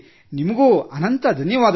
ನಿಮಗೂ ಅನಂತ ಧನ್ಯವಾದಗಳು